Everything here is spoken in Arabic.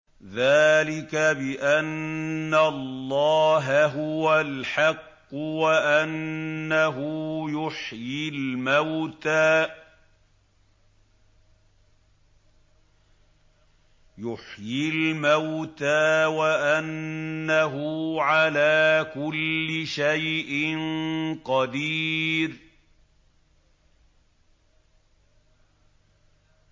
ذَٰلِكَ بِأَنَّ اللَّهَ هُوَ الْحَقُّ وَأَنَّهُ يُحْيِي الْمَوْتَىٰ وَأَنَّهُ عَلَىٰ كُلِّ شَيْءٍ قَدِيرٌ